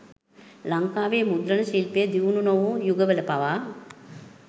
ලංකාවේ මුද්‍රණ ශිල්පය දියුණු නොවූ යුගවල පවා